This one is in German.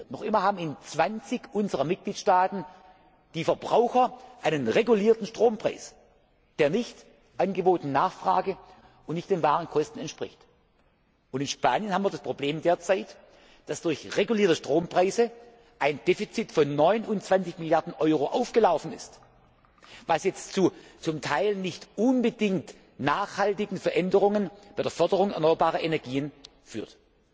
Markt. Noch immer haben in 20 unserer Mitgliedstaaten die Verbraucher einen regulierten Strompreis, der nicht Angebot und Nachfrage und nicht den wahren Kosten entspricht. In Spanien haben wir derzeit das Problem, dass durch regulierte Strompreise ein Defizit von 29 Mrd. Euro aufgelaufen ist, was jetzt zu zum Teil nicht unbedingt nachhaltigen Veränderungen bei der Förderung erneuerbarer Energien